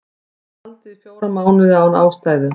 Haldið í fjóra mánuði án ástæðu